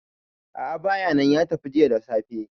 a`a bayanan ya tafi jiya da safe